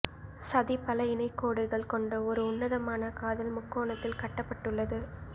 சதி பல இணை கோடுகள் கொண்ட ஒரு உன்னதமான காதல் முக்கோணத்தில் கட்டப்பட்டுள்ளது